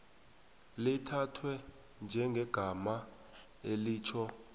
lithathwe njengegama elitjho